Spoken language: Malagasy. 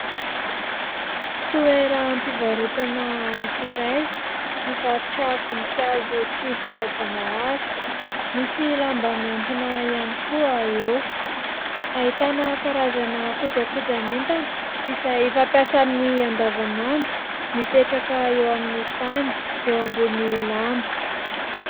Toeram-pivarotana iray, mivarotra voninkazo tsy voajanahary. Misy lamba mihantona ihany koa eo. Ahitana karazana kojakojan'entana izay fampiasa amin'ny andavanandro mipetraka eo amin'ny tany eo ambonin'ny lamba.